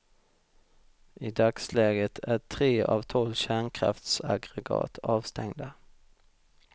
I dagsläget är tre av tolv kärnkraftsaggregat avstängda.